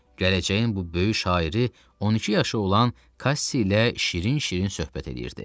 Gələcəyin bu böyük şairi 12 yaşı olan Kassi ilə şirin-şirin söhbət eləyirdi.